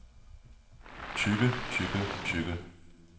tykke tykke tykke